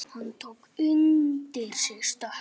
Hann tók undir sig stökk.